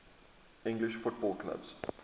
english football clubs